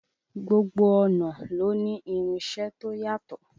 Gbogbo ọnà ló ní irinṣẹ́ to yàtọ̀.